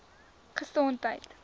gesondheid